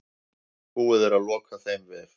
Búið er að loka þeim vef.